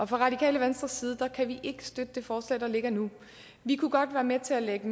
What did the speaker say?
radikale venstres side kan vi ikke støtte det forslag der ligger nu vi kunne godt være med til at lægge